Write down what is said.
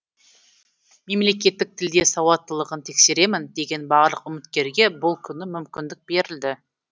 мемлекеттік тілде сауаттылығын тексеремін деген барлық үміткерге бұл күні мүмкіндік берілді